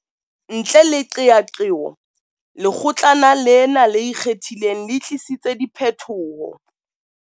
Ntle le qeaqeo, Lekgotlana lena le Ikgethileng le tlisitse diphetoho.